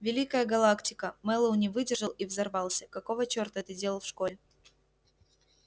великая галактика мэллоу не выдержал и взорвался какого черта ты делал в школе